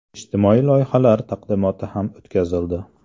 Ijtimoiy loyihalar taqdimoti ham o‘tkazildi.